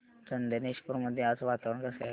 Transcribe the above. चंदनेश्वर मध्ये आज वातावरण कसे आहे